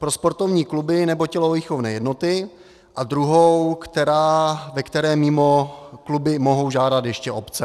Pro sportovní kluby nebo tělovýchovné jednoty a druhou, ve které mimo kluby mohou žádat ještě obce.